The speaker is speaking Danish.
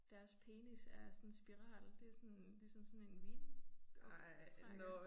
Deres penis er sådan en spiral. Det sådan ligesom sådan en vinoptrækker